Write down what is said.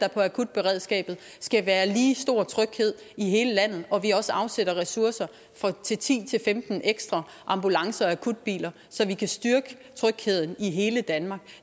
akutberedskabet skal være lige stor tryghed i hele landet og at vi også afsætter ressourcer til ti til femten ekstra ambulancer og akutbiler så vi kan styrke trygheden i hele danmark